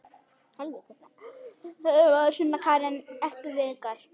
Sunna Karen: Ekki veikar?